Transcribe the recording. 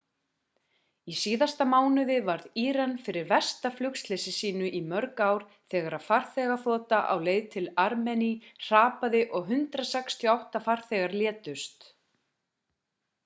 í síðasta mánuði varð íran fyrir versta flugslysi sínu í mörg ár þegar farþegaþota á leið til armení hrapaði og 168 farþegar létust